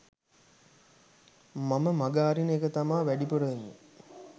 මම මග අරින එක තමා වැඩිපුර වෙන්නේ